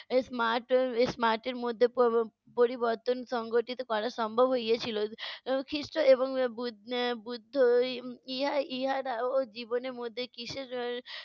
smart এর smart এর মধ্যে প~ প~ পরিবর্তন সংগঠিত করা সম্ভব হইয়েছিল। এর খ্রিষ্ট এবং বু~ এর বুদ্ধই ইহা~ ইহারাও জীবনের মধ্যে কিসের